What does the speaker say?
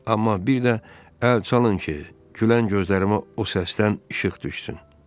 Amma bir də əl çalın ki, gülən gözlərimə o səsdən işıq düşsün.